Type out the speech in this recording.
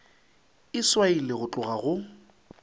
e swailwe go tloga go